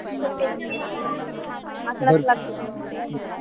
अस